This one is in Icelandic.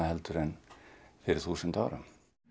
en fyrir þúsund árum